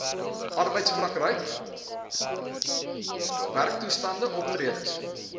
arbeidsprakryk werktoestande optredes